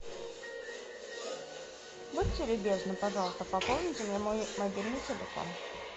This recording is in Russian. будьте любезны пожалуйста пополните мне мой мобильный телефон